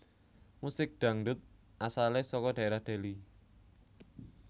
Musik Dangdut asalé saka dhaérah Deli